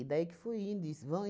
daí que foi indo isso. Vão